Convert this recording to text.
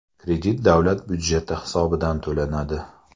Kredit davlat budjeti hisobidan to‘lanadi.